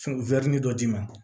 dɔ d'i ma